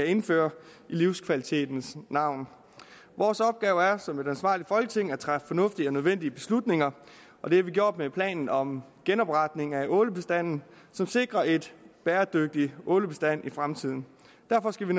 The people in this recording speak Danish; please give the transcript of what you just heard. indføre i livskvalitetens navn vores opgave er som et ansvarligt folketing at træffe fornuftige og nødvendige beslutninger og det har vi gjort med planen om genopretning af ålebestanden som sikrer en bæredygtig ålebestand i fremtiden derfor skal vi